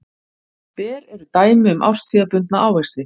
Ber eru dæmi um árstíðabundna ávexti.